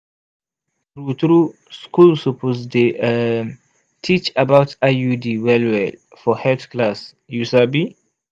true true school suppose dey um teach about iud well-well for health class you sabi?